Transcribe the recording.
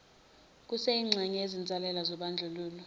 kuseyingxenye yezinsalela zobandlululo